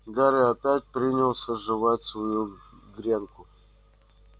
гарри опять принялся жевать свою гренку